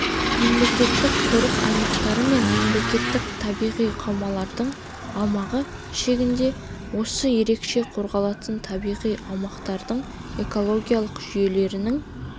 мемлекеттік қорық аймақтары мен мемлекеттік табиғи қаумалдардың аумағы шегінде осы ерекше қорғалатын табиғи аумақтардың экологиялық жүйелерінің